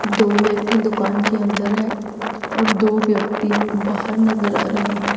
दो व्यक्ति दुकान के अंदर है और दो व्यक्ति बाहर नजर आ रहे हैं।